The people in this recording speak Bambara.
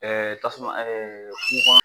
tasuma